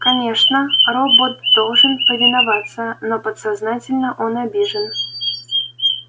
конечно робот должен повиноваться но подсознательно он обижен